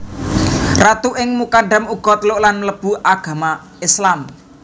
Ratu ing Mukadam uga teluk lan mlebu agama Islam